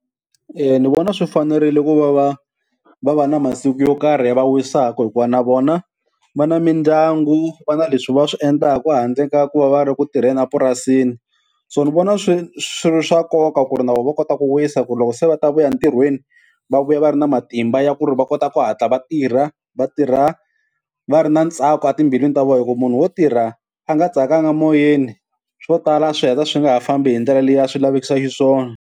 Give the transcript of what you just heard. Eya ni vona swi fanerile ku va va va va na masiku yo karhi ya va wisaka hikuva na vona va na mindyangu va na leswi va swi endlaka handle ka ku va va ri ku tirheni epurasini, so ni vona swi swi ri swa nkoka ku ri na vona va kota ku wisa ku loko se va ta vuya ntirhweni va vuya va ri na matimba ya ku ri va kota ku hatla va tirha va tirha va ri na ntsako etimbilwini ta vona, hi ku munhu wo tirha a nga tsakanga moyeni, swo tala swi heta swi nga ha fambi hi ndlela leyi a swi lavekisa xiswona.